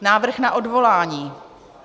Návrh na odvolání.